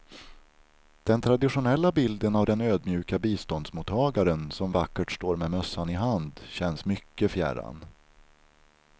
Den traditionella bilden av den ödmjuka biståndsmottagaren som vackert står med mössan i hand känns mycket fjärran.